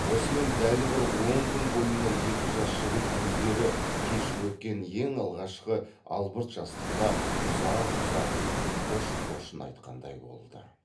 осымен дәл бір он күн бойына екі жас жігіт өздері кешіп өткен ең алғашқы албырт жастыққа ұзақ ұзақ қош қошын айтқандай болды